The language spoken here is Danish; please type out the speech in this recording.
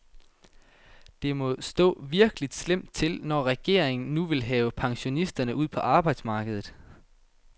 Det må stå virkelig slemt til, når regeringen nu vil have pensionisterne ud på arbejdsmarkedet.